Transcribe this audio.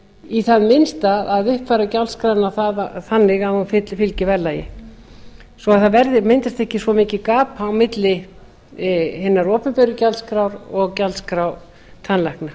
í það minnsta að uppfæra gjaldskrána þannig að hún fylgi verðlagi svo að það myndist ekki svo mikið gap á milli hinnar opinberu gjaldskrá og gjaldskrár tannlækna